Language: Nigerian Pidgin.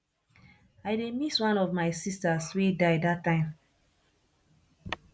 i dey miss one of my sisters wey die dat time